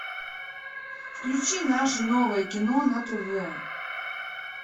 включи наше новое кино на тв